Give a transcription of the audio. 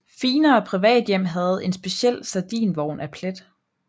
Finere privathjem havde en speciel sardinvogn af plet